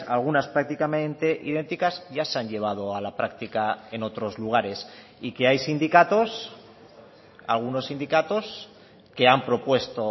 algunas prácticamente idénticas ya se han llevado a la práctica en otros lugares y que hay sindicatos algunos sindicatos que han propuesto